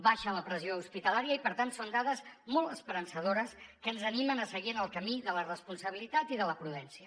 baixa la pressió hospitalària i per tant són dades molt esperançadores que ens animen a seguir en el camí de la responsabilitat i de la prudència